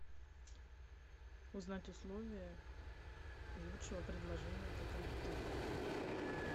узнать условия лучшего предложения по кредитованию